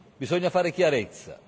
Bisogna fare chiarezza.